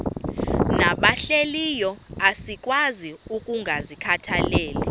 nabahlehliyo asikwazi ukungazikhathaieli